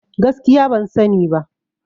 Gaskiya ban sani ba